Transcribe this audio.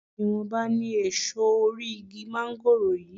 Ìwọ̀nba ni èso orí igi máńgòrò yìí